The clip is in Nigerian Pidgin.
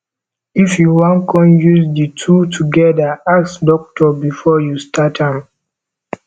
if yu wan con use di two togeda ask dokitor bifor yu start am